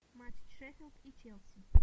матч шеффилд и челси